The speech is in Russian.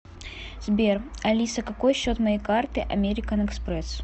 сбер алиса какой счет моей карты американ экспресс